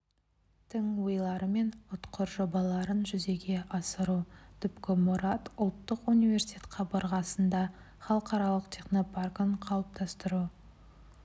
тың ойлары мен ұтқыр жобаларын жүзеге асыру түпкі мұрат ұлттық университет қабырғасында халықаралық технопаркін қалыптастыру